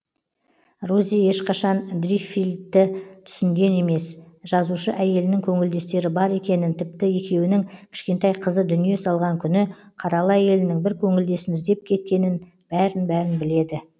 рози ешқашан дриффилді түсінген емес жазушы әйелінің көңілдестері бар екенін тіпті екеуінің кішкентай қызы дүние салған күні қаралы әйелінің бір көңілдесін іздеп кеткенін бәрін бәрін біледі